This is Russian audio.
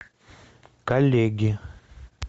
коллеги